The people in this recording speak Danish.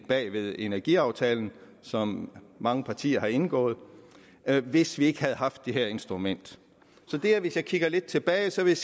bag ved energiaftalen som mange partier har indgået hvis ikke vi havde haft det her instrument så hvis jeg kigger lidt tilbage vil